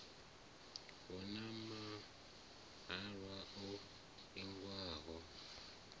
hu na mahalwa o ingiwaho